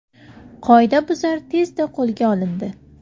Qoidabuzar tezda qo‘lga olindi.